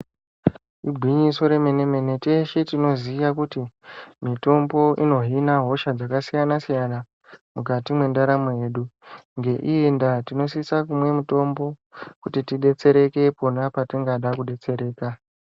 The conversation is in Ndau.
Igwinyiso remene mene teshe tinoziya kuti mitombo inohina hosha dzakasiyana siyana mukati mwendaramo yedu ngeiyi ndaa tinosisa kumwa mutombo kuti tidetsereke pona patingada kudetsereka.